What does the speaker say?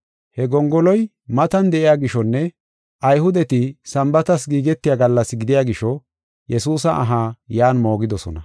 He gongoloy matan de7iya gishonne Ayhudeti Sambaatas giigetiya gallas gidiya gisho, Yesuusa aha yan moogidosona.